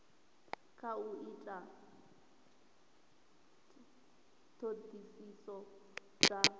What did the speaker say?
kha u ita ṱhoḓisiso dza